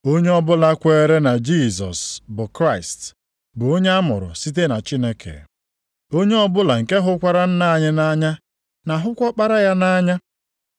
Onye ọbụla kweere na Jisọs bụ Kraịst bụ onye amụrụ site na Chineke. Onye ọbụla nke hụkwara Nna nʼanya na-ahụkwa Ọkpara ya nʼanya.